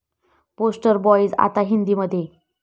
poster boys' आता हिंदीमध्ये